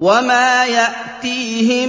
وَمَا يَأْتِيهِم